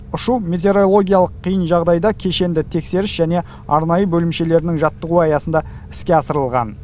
ұшу метеорологиялық қиын жағдайда кешенді тексеріс және арнайы бөлімшелерінің жаттығуы аясында іске асырылған